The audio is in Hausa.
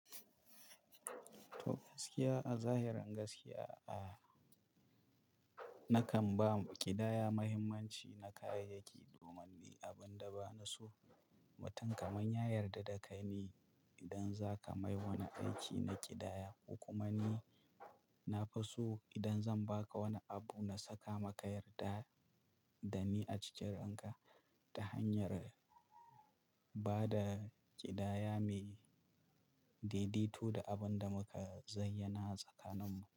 To gaskiya a zahirin gaskiya a. Nakan ba ƙidaya mahimmanci na kayayyaki domin ne abin da ba na so. Mutum kamar ya yadda da kai ne idam za kai mai wani aiki na kidaya to kuma ni na fiso idan zan ba ka wani abu na saka maka yarda da ni a cikin ranka ta hanyar ba da ƙidaya mai daidaito da abin da muka zayyana tsakaninmu.